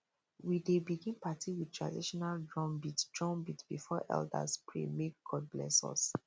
we dey begin party with traditional drumbeat drumbeat before elders pray make god bless us